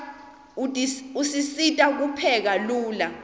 usisita kupheka lula